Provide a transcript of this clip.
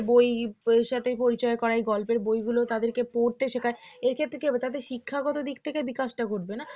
বইয়ের সাথে পরিচয় করায় গল্পের বইগুলো তাদেরকে পড়তে শেখায় এক্ষেত্রে কি হবে শিক্ষাগত দিক থেকে বিকাশটা ঘটবে না